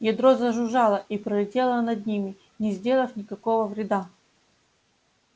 ядро зажужжало и пролетело над ними не сделав никакого вреда